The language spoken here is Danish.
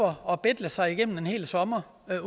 og betle sig igennem en hel sommer